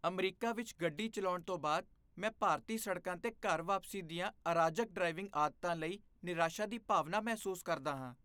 America ਵਿੱਚ ਗੱਡੀ ਚਲਾਉਣ ਤੋਂ ਬਾਅਦ, ਮੈਂ ਭਾਰਤੀ ਸੜਕਾਂ 'ਤੇ ਘਰ ਵਾਪਸੀ ਦੀਆਂ ਅਰਾਜਕ ਡ੍ਰਾਈਵਿੰਗ ਆਦਤਾਂ ਲਈ ਨਿਰਾਸ਼ਾ ਦੀ ਭਾਵਨਾ ਮਹਿਸੂਸ ਕਰਦਾ ਹਾਂ।